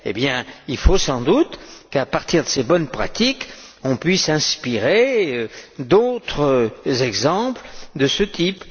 Eh bien, il faut sans doute qu'à partir de ces bonnes pratiques, on puisse inspirer d'autres exemples de ce type.